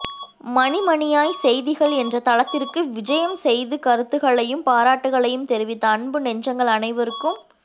மணி மணியாய் செய்திகள் என்ற தளத்திற்கு விஜயம் செய்து கருத்துகளையும் பாராட்டுகளையும் தெரிவித்த அன்பு நெஞ்சங்கள் அனைவருக்கும்